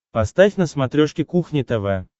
поставь на смотрешке кухня тв